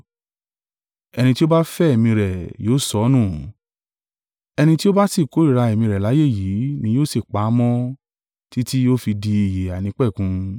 Ẹni tí ó bá fẹ́ ẹ̀mí rẹ̀ yóò sọ ọ́ nù; ẹni tí ó bá sì kórìíra ẹ̀mí rẹ̀ láyé yìí ni yóò sì pa á mọ́ títí ó fi di ìyè àìnípẹ̀kun.